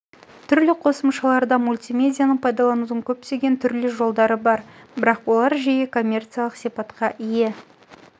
түрлі қосымшаларда мультимедианы пайдаланудың көптеген түрлі жолдары бар бірақ олар жиі коммерциялық сипатқа ие